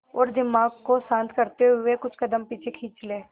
और दिमाग को शांत करते हुए कुछ कदम पीछे खींच लें